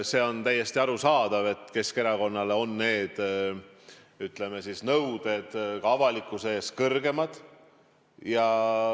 See on täiesti arusaadav, et Keskerakonnale on need, ütleme siis, nõuded ka avalikkuse ees kõrgemad.